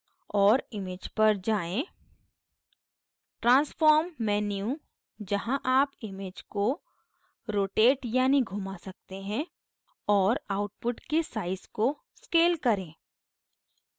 और image पर जाएँ transform menu जहाँ आप image को rotate यानी घुमा सकते हैं और output के size को scale करें